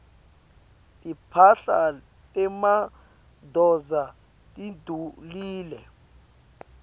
timphahla temadvodza tidulile